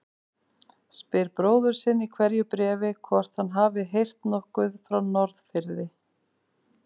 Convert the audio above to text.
Spyr bróður sinn í hverju bréfi hvort hann hafi heyrt nokkuð frá Norðfirði.